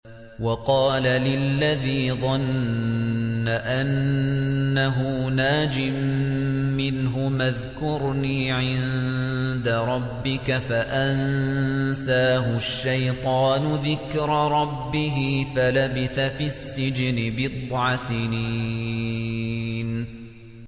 وَقَالَ لِلَّذِي ظَنَّ أَنَّهُ نَاجٍ مِّنْهُمَا اذْكُرْنِي عِندَ رَبِّكَ فَأَنسَاهُ الشَّيْطَانُ ذِكْرَ رَبِّهِ فَلَبِثَ فِي السِّجْنِ بِضْعَ سِنِينَ